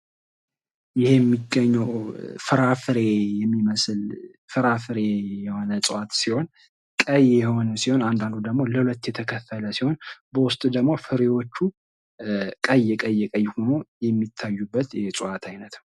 ይህ የሚገኘው ፍራፍሬ የሚመስል ፍራፍሬ የሆነ እጽዋት ሲሆን ቀይ የሆነ አንዳንዱ ደሞ ለሁለት የተከፈለ በውስጡ ደግሞ ፍሬዎቹ ጠይቀ የሆነው የሚታዩበት የእፅዋት አይነት ነው።